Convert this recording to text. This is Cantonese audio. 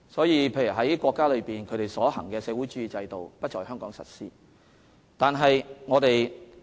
因此，國家所推行的社會主義制度不會在香港實施。